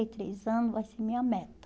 e três anos vai ser minha meta.